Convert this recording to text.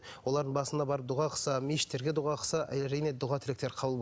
олардың басына барып дұға қылса мешіттерге дұға қылса әрине дұға тілектер